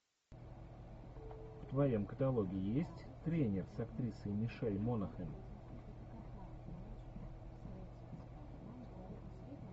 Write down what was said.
в твоем каталоге есть тренер с актрисой мишель монахэн